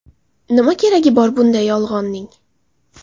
Nima keragi bor bunday yolg‘onning?